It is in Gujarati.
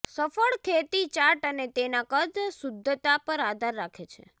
સફળ ખેતી ચાટ અને તેના કદ શુદ્ધતા પર આધાર રાખે છે